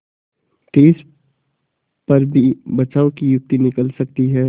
तिस पर भी बचाव की युक्ति निकल सकती है